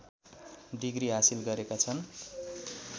degree हासिल गरेका छन्